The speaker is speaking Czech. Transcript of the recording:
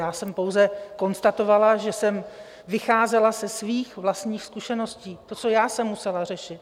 Já jsem pouze konstatovala, že jsem vycházela ze svých vlastních zkušeností, to, co já jsem musela řešit.